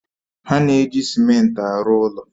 Ha na-eji simenti arụ ụlọ